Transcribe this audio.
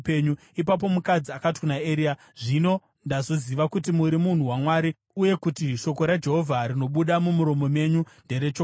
Ipapo mukadzi akati kuna Eria, “Zvino ndazoziva kuti muri munhu waMwari uye kuti shoko raJehovha rinobuda mumuromo menyu nderechokwadi.”